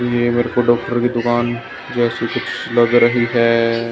ये मेरे को डॉक्टर की दुकान जैसी कुछ लग रही है।